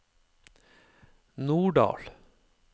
Norddal